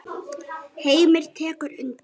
Heimir tekur undir.